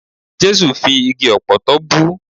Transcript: Jẹ́sù fi igi ọ̀pọ̀tọ́ bú.